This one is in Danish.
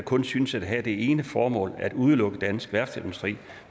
kun synes at have det ene formål at udelukke dansk værftsindustri